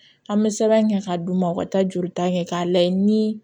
An bɛ sɛbɛn kɛ k'a d'u ma u ka taa jolita kɛ k'a lajɛ ni